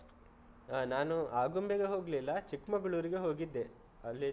ಆ, ನಾನು ಆಗುಂಬೆಗೆ ಹೋಗ್ಲಿಲ್ಲ, ಚಿಕ್ಮಂಗ್ಳೂರಿಗೆ ಹೋಗಿದ್ದೆ, ಅಲ್ಲಿ.